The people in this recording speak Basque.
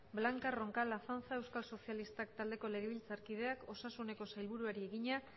blanca roncal azanza euskal sozialistak taldeko legebiltzarkideak osasuneko sailbururari egina